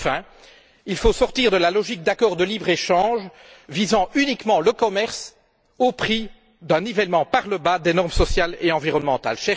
Enfin, il faut sortir de la logique des accords de libre échange visant uniquement le commerce au prix d'un nivellement par le bas des normes sociales et environnementales.